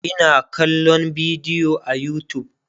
Ina kallan bidiyo a utube